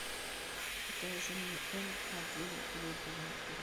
покажи мне м один глобал на тв